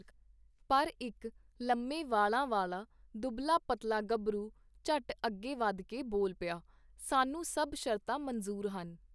ਪਰ ਇਕ ਲੰਮੇ ਵਾਲਾਂ ਵਾਲਾ ਦੁਬਲਾ-ਪਤਲਾ ਗੱਭਰੂ ਝਟ ਅਗੇ ਵਧ ਕੇ ਬੋਲ ਪਿਆ, ਸਾਨੂੰ ਸਭ ਸ਼ਰਤਾਂ ਮਨਜ਼ੂਰ ਹਨ.